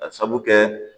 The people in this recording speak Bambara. Ka sabu kɛ